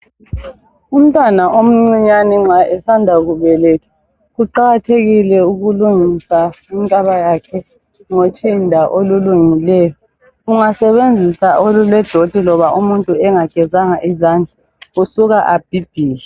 Umtwana omcinyane nxa esanda kubelethwa kuqakathekile ukulungisa inkaba yakhe ngotshinda olulungileyo. Ungasebenzisa olule doti loba umuntu engagezanga izandla usuka abhibhidle.